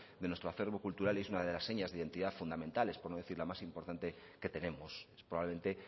de nuestro acervo cultural y es una de las señas de identidad fundamentales por no decir la más importante que tenemos es probablemente